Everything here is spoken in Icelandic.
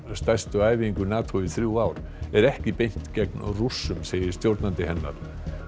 stærstu æfingu NATO í þrjú ár er ekki beint gegn Rússum segir stjórnandi hennar